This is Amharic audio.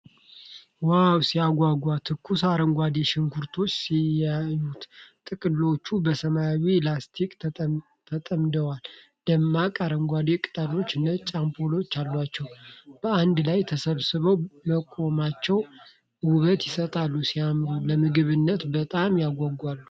ዋው ሲያጓጓ! ትኩስ አረንጓዴ ሽንኩርቶች ሲያዩ! ጥቅሎቹ በሰማያዊ ላስቲክ ተጠምደዋል። ደማቅ አረንጓዴ ቅጠሎችና ነጭ አምፖሎች አሏቸው። በአንድ ላይ ተሰብስበው መቆማቸው ውበት ይሰጣል። ሲያምር! ለምግብነት በጣም ያጓጓል።